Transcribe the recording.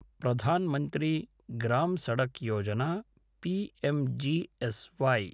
Pradhan Mantri Gram Sadak Yojana PMGSY